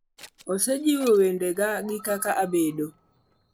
osejiwo wendega gi kaka abedo.